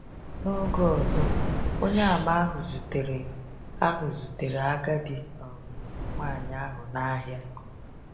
N’oge ọzọ, Onyeàmà ahụ zutere ahụ zutere agadi um nwaanyị ahụ n’ahịa.